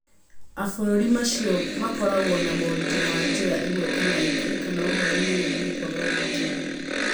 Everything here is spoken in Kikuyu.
abũrũri macio mothe makoragwo na moritũ ma njĩra ĩmwe kana ĩngĩ, kana ũhoro-inĩ wĩgiĩ kwaga ũgitĩri.